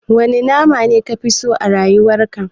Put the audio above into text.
Wane nama ne kafi so a rayuwar ka?